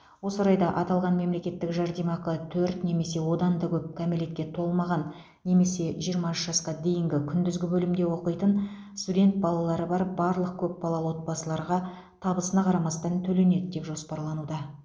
осы орайда аталған мемлекеттік жәрдемақы төрт немесе одан да көп кәмелетке толмаған немесе жиырма үш жасқа дейінгі күндізгі бөлімде оқитын студент балалары бар барлық көпбалалы отбасыларға табысына қарамастан төленеді деп жоспарлануда